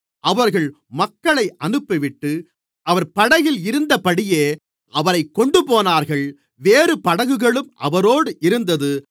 அவர்கள் மக்களை அனுப்பிவிட்டு அவர் படகில் இருந்தபடியே அவரைக்கொண்டுபோனார்கள் வேறு படகுகளும் அவரோடு இருந்தது